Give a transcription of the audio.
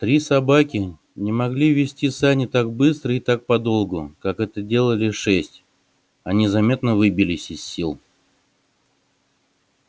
три собаки не могли везти сани так быстро и так подолгу как это делали шесть они заметно выбились из сил